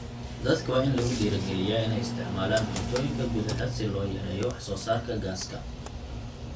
Dadka waa in lagu dhiirrigeliyaa inay isticmaalaan cuntooyinka gudaha si loo yareeyo wax soo saarka gaaska.